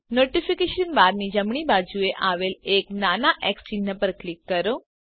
notification બારની જમણી બાજુએ આવેલ એક નાના એક્સ ચિન્હ પર ક્લિક કરો